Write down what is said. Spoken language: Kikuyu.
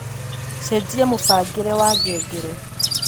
cenjia mūbangīre wa ngengere